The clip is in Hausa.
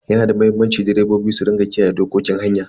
Yana da muhimmanci direbobi su rika kiyaye dokokin hanya.